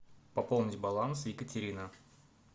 пополнить баланс екатерина